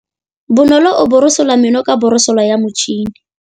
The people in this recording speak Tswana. Bonolô o borosola meno ka borosolo ya motšhine.